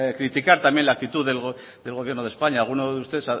criticar también la actitud del gobierno de españa alguno de ustedes